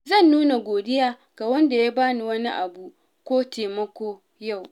Zan nuna godiya ga wanda ya bani wani abu ko taimako yau.